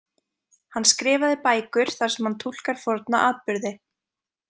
Hann skrifaði bækur þar sem hann túlkar forna atburði.